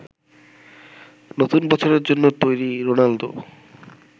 নতুন বছরের জন্য তৈরি রোনালদো।